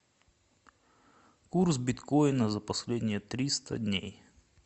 курс биткоина за последние триста дней